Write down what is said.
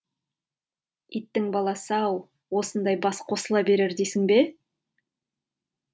иттің баласы ау осындай бас қосыла берер дейсің бе